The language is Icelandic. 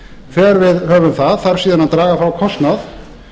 þegar við höfum það þarf síðan að draga frá kostnað